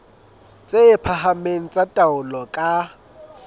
tse phahameng tsa taolo ka